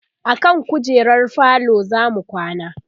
akan kujerar falo zamu kwana